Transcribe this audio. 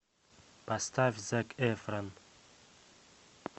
поставь зак эфрон